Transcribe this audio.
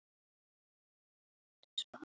Þetta er ekki ást.